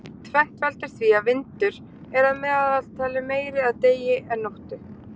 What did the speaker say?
tvennt veldur því að vindur er að meðaltali meiri að degi en nóttu